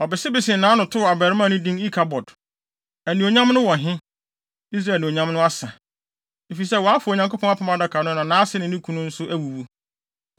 Ɔbesebesee nʼano too abarimaa no din Ikabod, “Anuonyam no wɔ he, Israel anuonyam no asa,” efisɛ wɔafa Onyankopɔn Apam Adaka no na nʼase ne ne kunu nso awuwu.